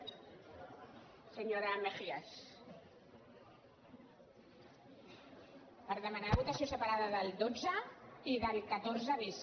per demanar votació separada del dotze i del catorze bis